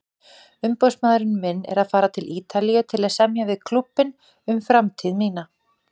Umboðsmaðurinn minn er að fara til Ítalíu til að semja við klúbbinn um framtíð mína.